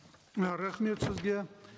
і рахмет сізге